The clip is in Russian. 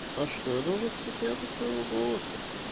а что я должен стесняться своего голоса